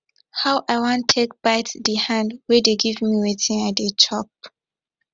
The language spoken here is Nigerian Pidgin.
how i wan take bite the hand wey dey give me wetin i dey chop